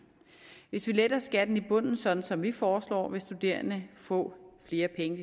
hvis vi letter skatten i bunden sådan som vi foreslår vil studerende få flere penge